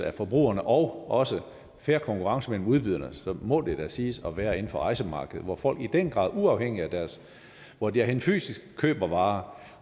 af forbrugerne og også for fair konkurrence mellem udbyderne så må det siges at være inden for rejsemarkedet hvor folk i den grad uafhængig af hvor de er henne fysisk køber varer